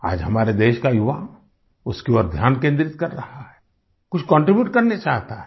आज हमारे देश का युवा उसकी ओर ध्यान केन्द्रित कर रहा है कुछ कॉन्ट्रीब्यूट करना चाहता है